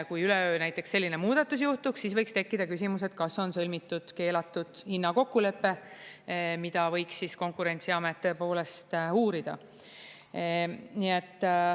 Kui üleöö näiteks selline muudatus juhtuks, siis võiks tekkida küsimus, et kas on sõlmitud keelatud hinnakokkulepe, mida võiks siis Konkurentsiamet tõepoolest uurida.